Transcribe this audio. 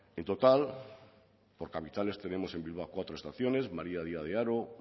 en total por capitales tenemos en bilbao cuatro estaciones maría díaz de haro